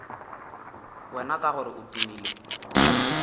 wena ka gore o tumile